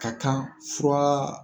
Ka kan furaaa.